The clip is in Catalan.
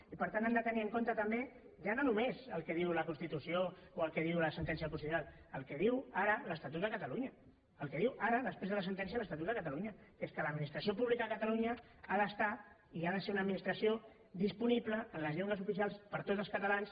i per tant han de tenir en compte també ja no només el que diu la constitució o el que diu la sentència del constitucional el que diu ara l’estatut de catalunya el que diu ara després de la sentència l’estatut de catalunya que és que l’administració pública de catalunya ha d’estar i ha de ser una administració disponible en les llengües oficials per a tots els catalans